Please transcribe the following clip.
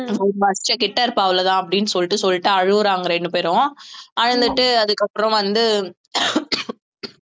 ஒரு வருஷம் கிட்ட இருப்பா அவ்வளவுதான் அப்படீன்னு சொல்லிட்டு அழுவுறாங்க ரெண்டு பேரும் அழுதுட்டு அதுக்கப்புறம் வந்து